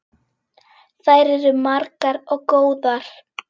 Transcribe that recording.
Þær eru margar og góðar.